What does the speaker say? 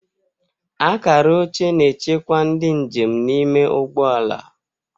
Akara oche na-echekwa ndị njem n'ime ụgbọ ala.